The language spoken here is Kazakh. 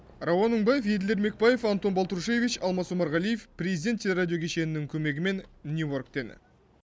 рауан мыңбаев еділ ермекбаев антон болтрушевич алмас омарғалиев президент теле радио кешенінің көмегімен нью йорктен